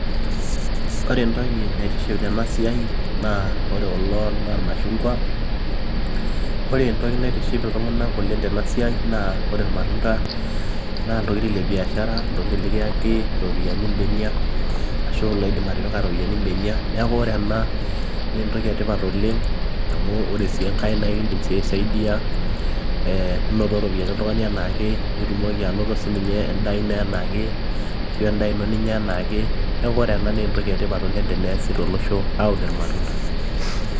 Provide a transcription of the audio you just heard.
Ore entoki naitiship tena siai naa ore kulo naa ilmashungwa, ore entoki naitiship iltung`anak oleng tena siai naa ore ilmatunda naa iltokitin le biashara, iltokitin likiyaki irropiyiani imbenia ashu iliidim atipika irropiyiani imbenia. Niaku ore ena naa entoki e tipat oleng amu ore sii enkae ekidim aisaidia inoto irropiyiani oltung`ani anaake nitumoki anoto sii ninye anoto e n`daa ino anaake ashu endaa ino ninyia anaake, niaku ore ena naa entoki e tipat teneasi to losho aun matunda.